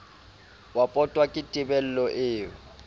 wa pota ke tebello eo